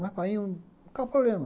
Mas painho, qual é o problema?